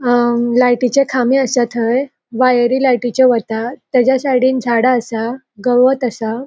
अ लायटीचे खामे असा थय वायरी लायटीचे वयता त्याज्या साइडीन झाडा असा गवत असा.